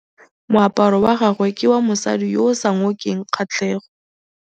Moaparô wa gagwe ke wa mosadi yo o sa ngôkeng kgatlhegô.